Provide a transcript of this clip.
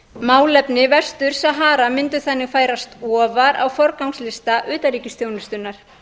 málefni vestur sahara mundu þannig færast ofar á forgangslista utanríkisþjónustunnar